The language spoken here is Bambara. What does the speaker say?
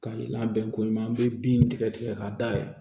Ka labɛn ko ɲuman an be bin tigɛ tigɛ k'a da yɛlɛ